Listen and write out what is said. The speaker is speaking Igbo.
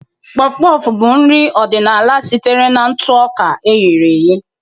Puff-puff bụ nri ọdịnala sitere na ntụ ọka e ghere eghe.